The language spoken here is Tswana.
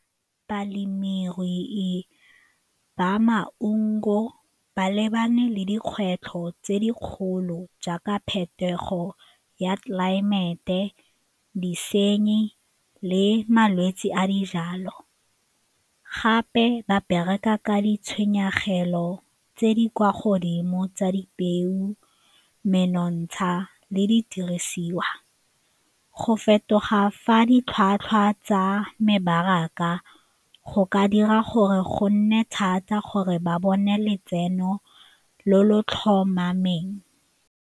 Balemirui ba maungo ba lebane le dikgwetlho tse di kgolo jaaka phetogo ya tlelaemete, disenyi le malwetse a dijalo, gape ba bereka ka ditshenyegelo tse di kwa godimo tsa dipeo, menontsha le didirisiwa. Go fetoga fa ditlhwatlhwa tsa mebaraka go ka dira gore go nne thata gore ba bone letseno lo lo tlhomameng.